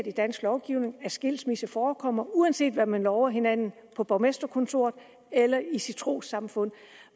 i dansk lovgivning accepteret at skilsmisse forekommer uanset hvad man lover hinanden på borgmesterkontoret eller i sit trossamfund